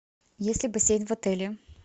есть ли бассейн в отеле